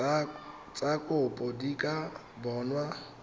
tsa kopo di ka bonwa